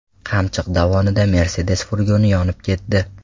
Qamchiq dovonida Mercedes furgoni yonib ketdi.